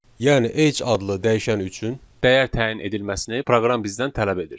Yəni Age adlı dəyişən üçün dəyər təyin edilməsini proqram bizdən tələb edir.